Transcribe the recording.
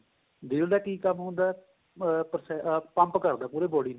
ਦਿਲ ਦਾ ਕਿ ਕੰਮ ਹੁੰਦਾ ah pump ਕਰਦਾ ਪੂਰੀ body ਨੂੰ